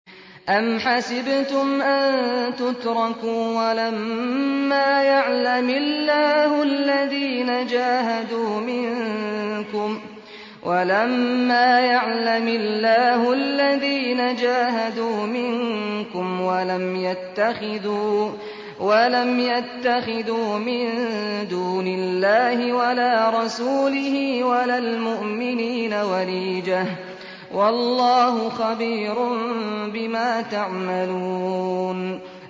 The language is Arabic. أَمْ حَسِبْتُمْ أَن تُتْرَكُوا وَلَمَّا يَعْلَمِ اللَّهُ الَّذِينَ جَاهَدُوا مِنكُمْ وَلَمْ يَتَّخِذُوا مِن دُونِ اللَّهِ وَلَا رَسُولِهِ وَلَا الْمُؤْمِنِينَ وَلِيجَةً ۚ وَاللَّهُ خَبِيرٌ بِمَا تَعْمَلُونَ